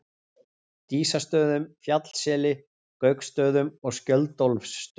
Dísastöðum, Fjallsseli, Gauksstöðum og Skjöldólfsstöðum.